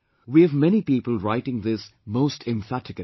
We have many people writing this most emphatically